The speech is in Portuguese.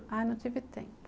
Ah, não tive tempo.